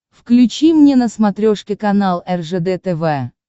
включи мне на смотрешке канал ржд тв